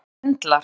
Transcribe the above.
Og hana sundlar.